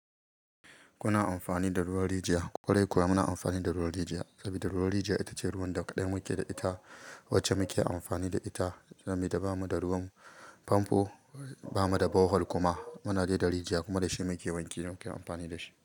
Muna amfani da ruwan rijiya. Kwarai kuwa muna amfani da ruwan rijiya saboda ruwan rijiya ita ce ruwan da kaɗan muke da ita, wacce muke amfani da ita saboda bamu da ruwan famfo, bamu da borehole kuma. Muna dai da rijiya kuma da shi muke wanki, don muke amfani da shi.